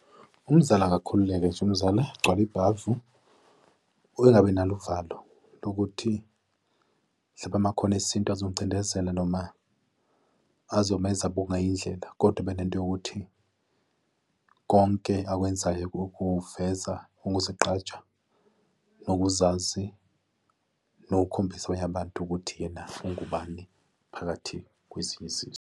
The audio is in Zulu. Umzali akakhululeke nje umzali, agcwale ibhavu engabe nalo uvalo lokuthi hlampe amakhono esintu ezomcindezela noma azomenza abungwa yindlela kodwa abe nento yokuthi konke akwenzayo ukuveza ukuzigqaja nokuzazi nokukhombisa abanye abantu ukuthi yena ungubani phakathi kwezinye uzizwe.